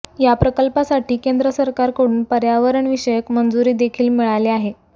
या प्रकल्पासाठी केंद्र सरकारकडून पर्यावरण विषयक मंजुरी देखील मिळाली आहे